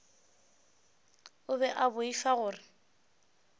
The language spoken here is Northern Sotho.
o be a boifa gore